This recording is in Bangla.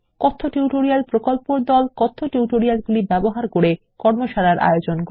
কথ্য টিউটোরিয়াল প্রকল্পর দল কথ্য টিউটোরিয়ালগুলি ব্যবহার করে কর্মশালার আয়োজন করে